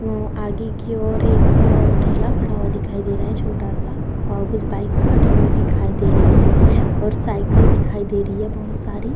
वो आगे की ओर एक अ ठेला खड़ा हुआ दिखाई दे रहा है छोटा-सा और कुछ बाइक्स खड़ी हुई दिखाई दे रही है और साइकिल्स दिखाई दे रही है बहुत सारी |